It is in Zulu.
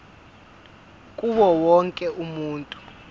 kuwo wonke umuntu